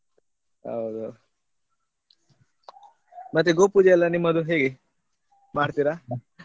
ಹೌದು ಮತ್ತೆ ಗೋಪೂಜೆ ಎಲ್ಲ ನಿಮ್ಮದು ಹೇಗೆ ಮಾಡ್ತೀರಾ?